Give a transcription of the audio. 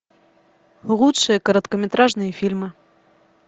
лучшие короткометражные фильмы